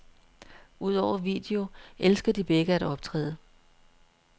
Udover video elsker de begge at optræde.